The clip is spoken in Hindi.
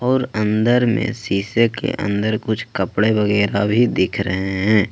और अंदर में शीशे के अंदर कुछ कपड़े वगैरह भी दिख रहे हैं।